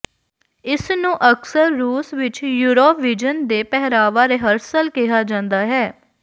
ਇਸ ਨੂੰ ਅਕਸਰ ਰੂਸ ਵਿਚ ਯੂਰੋਵੀਜ਼ਨ ਦੇ ਪਹਿਰਾਵਾ ਰਿਹਰਸਲ ਕਿਹਾ ਜਾਂਦਾ ਹੈ